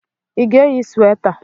Ị ga-eyi sweta?